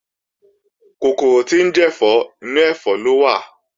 Kòkòrò tí ń jẹ̀fọ́, inú ẹ̀fọ́ ló wà